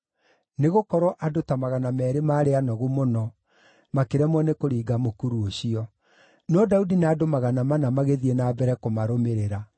nĩgũkorwo andũ ta magana meerĩ maarĩ anogu mũno, makĩremwo nĩ kũringa mũkuru ũcio. No Daudi na andũ magana mana magĩthiĩ na mbere kũmarũmĩrĩra.